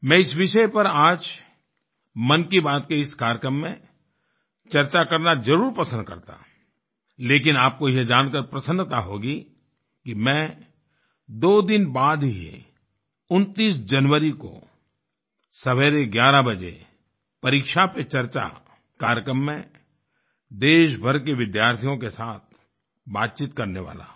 मैं इस विषय पर आज मन की बात के इस कार्यक्रम में चर्चा करनाज़रूर पसंद करता लेकिन आपको यह जानकर प्रसन्नता होगी कि मैं दो दिन बाद ही 29 जनवरी को सवेरे 11 बजे परीक्षा पे चर्चा कार्यक्रम में देश भर के विद्यार्थियों के साथ बातचीत करने वाला हूँ